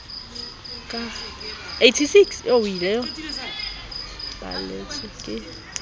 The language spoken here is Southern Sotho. ka ha di balletswe ke